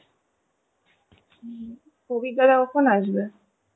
হম প্রবীরদা কখন আসবে?